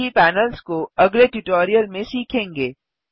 बाकी पैनल्स को अगले ट्यूटोरियल में सीखेंगे